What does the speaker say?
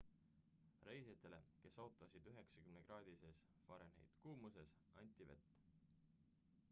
reisijatele kes ootasid 90-kraadises f kuumuses anti vett